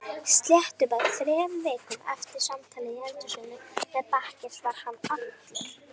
Sléttum þremur vikum eftir samtal í eldhúsinu með bakkelsi var hann allur.